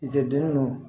Ziiridu nu